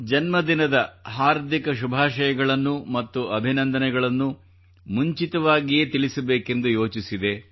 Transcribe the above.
ಜನ್ಮದಿನದ ಹಾರ್ದಿಕ ಶುಭಾಶಯಗಳನ್ನು ಮತ್ತು ಅಭಿನಂದನೆಗಳನ್ನು ಮುಂಚಿತವಾಗಿಯೇ ತಿಳಿಸಬೇಕೆಂದು ಯೋಚಿಸಿದೆ